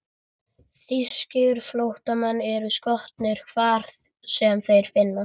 Þýskir flóttamenn eru skotnir, hvar sem þeir finnast.